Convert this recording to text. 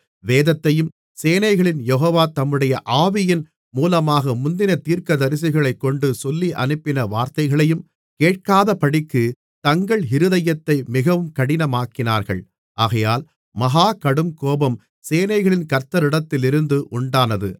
வேதத்தையும் சேனைகளின் யெகோவா தம்முடைய ஆவியின் மூலமாக முந்தின தீர்க்கதரிசிகளைக்கொண்டு சொல்லியனுப்பின வார்த்தைகளையும் கேட்காதபடிக்குத் தங்கள் இருதயத்தை மிகவும் கடினமாக்கினார்கள் ஆகையால் மகா கடுங்கோபம் சேனைகளின் கர்த்தரிடத்திலிருந்து உண்டானது